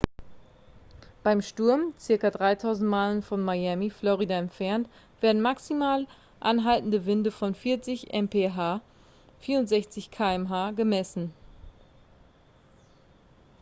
beim sturm ca. 3000 meilen von miami florida entfernt werden maximale anhaltende winde von 40 mph 64 km/h gemessen